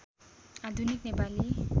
आधुनिक नेपाली